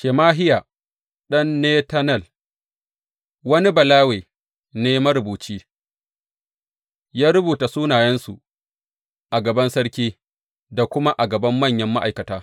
Shemahiya ɗan Netanel, wani Balawe ne marubuci, ya rubuta sunayensu a gaban sarki da kuma a gaban manyan ma’aikata.